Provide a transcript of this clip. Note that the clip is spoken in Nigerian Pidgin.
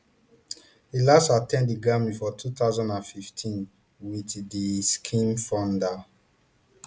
e last at ten d di grammys for two thousand and fifteen with di skims founder